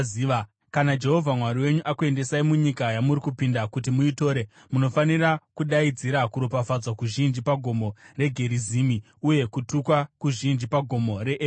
Kana Jehovha Mwari wenyu akuendesai munyika yamuri kupinda kuti muitore, munofanira kudaidzira kuropafadzwa kuzhinji paGomo reGerizimu, uye kutukwa kuzhinji paGomo reEbhari.